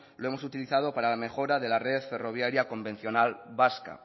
lo hemos utilizado para la mejora de la red ferroviaria convencional vasca